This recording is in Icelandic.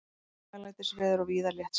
Hæglætisveður og víða léttskýjað